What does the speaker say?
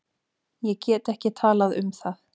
Ég get ekki talað um það.